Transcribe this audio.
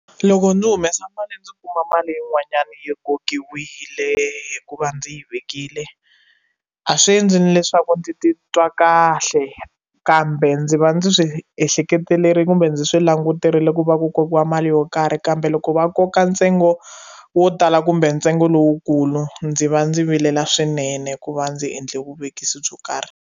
Loko ndzi humesa mali ndzi kuma mali yin'wanyana yi kokiwile hikuva ndzi yi vekile a swi endli ni leswaku ndzi titwa kahle kambe ndzi va ndzi swi ehleketeleli kumbe ndzi swi languterile ku va ku kokiwa mali yo karhi kambe loko va koka ntsengo wo tala kumbe ntsengo lowukulu ndzi va ndzi vilela swinene hikuva ndzi endle vuvekisi byo karhi.